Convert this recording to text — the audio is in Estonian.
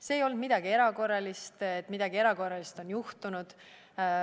See ei olnud midagi erakorralist, midagi erakorralist ei olnud juhtunud.